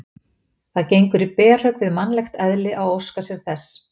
Það gengur í berhögg við mannlegt eðli að óska sér þess.